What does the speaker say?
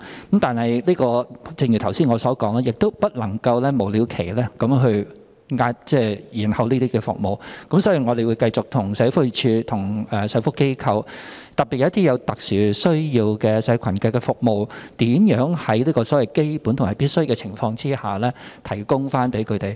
可是，正如我剛才所說，不能夠無了期延後這些服務，所以我們會繼續與社會福利署及社福機構，特別是那些為有特殊需要的社群服務的機構，看看如何在基本及必需的情況下，向有需要人士提供服務。